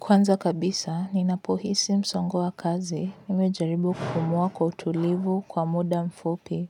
Kwanza kabisa, ninapohisi msongo wa kazi, mimi hujaribu kupumua kwa utulivu kwa muda mfupi.